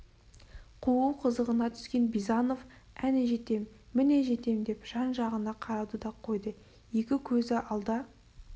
қуу қызығына түскен бизанов әне жетем міне жетем деп жан-жағына қарауды да қойды екі көзі алда